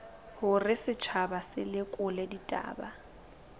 hore setjhaba se lekole ditaba